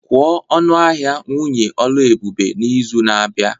Kwuo ọnụ ahịa nwunye Oluebube n'izu na-abịa